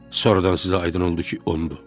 Sonradan sizə aydın oldu ki, ondu.